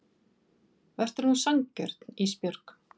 Vertu nú sanngjörn Ísbjörg.